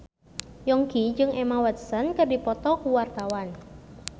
Yongki jeung Emma Watson keur dipoto ku wartawan